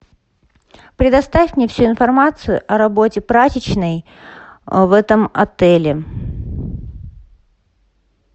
предоставь мне всю информацию о работе прачечной в этом отеле